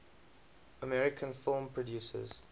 american film producers